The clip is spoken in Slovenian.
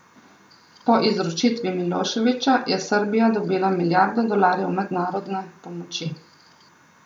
Po izročitvi Miloševića, je Srbija dobila milijardo dolarjev mednarodne pomoči.